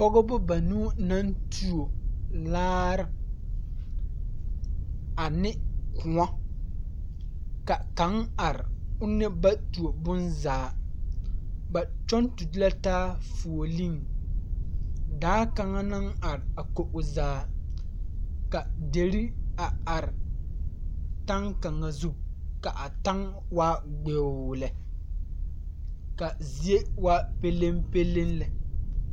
Pɔgebɔ banuu naŋ tuo laare ane kòɔ ka kaŋ are one ba tuo bonzaa ba kyɔŋ turn la taa foɔliŋ daa kaŋa naŋ are a konkogriŋ zaa ka derre a are taŋ kaŋa zu ka a taŋ waa gbeoo lɛ ka zie waa peleŋpeleŋ lɛ.